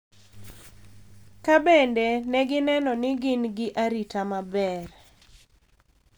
Ka bende ne gineno ni gin gi arita maber.